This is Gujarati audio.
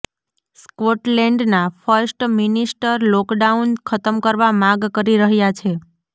સ્કોટલેન્ડના ફર્સ્ટ મિનિસ્ટર લોકડાઉન ખતમ કરવા માગ કરી રહ્યા છે